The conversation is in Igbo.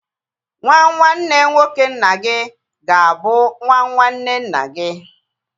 Nwa nwanne nwoke nna gị ga-abụ nwa nwanne nna gi